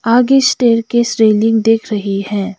आगे स्टेयर की श्रीलिंग दिख रही है।